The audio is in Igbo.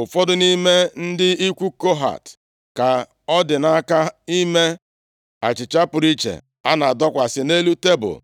Ụfọdụ nʼime ndị ikwu Kohat ka ọ dị nʼaka ime achịcha pụrụ iche, a na-adọkwasị nʼelu tebul,